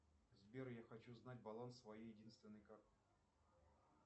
сбер я хочу знать баланс своей единственной карты